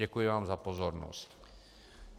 Děkuji vám za pozornost.